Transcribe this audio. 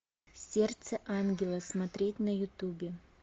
сердце ангела смотреть на ютубе